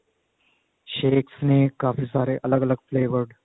shakes ਨੇ ਕਾਫੀ ਸਾਰੇ ਅਲੱਗ ਅਲੱਗ flavors